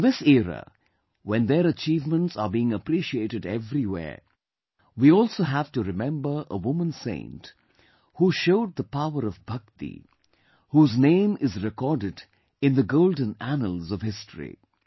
In this era, when their achievements are being appreciated everywhere, we also have to remember a woman saint who showed the power of Bhakti, whose name is recorded in the golden annals of history